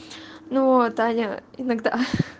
ну таня иногда